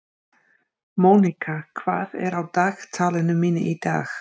Monika, hvað er á dagatalinu mínu í dag?